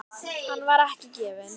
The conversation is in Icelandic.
Hann var ekki vel gefinn.